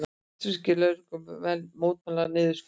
Vestfirskir lögreglumenn mótmæla niðurskurði